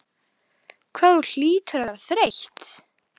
Hvað þú hlýtur að vera þreytt.